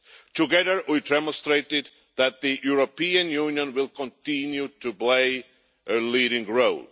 Together we demonstrated that the European Union will continue to play a leading role.